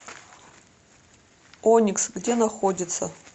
оникс где находится